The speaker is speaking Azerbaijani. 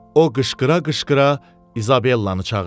O qışqıra-qışqıra İzabellanı çağırdı.